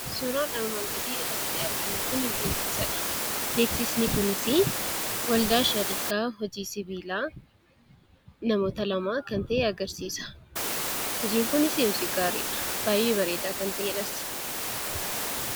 Suuraan armaan gadii iraatti arginu kun beeksisadha. Beeksisni kunis waldaa shariikaa hojii sibiilaa namoota lamaa kan ta'e agarsiisa. Hojiin kun hojii gaariidha. Baay'ee hojii bareedaa ta'edhas.